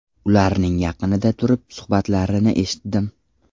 Ularning yaqinida turib suhbatlarini eshitdim.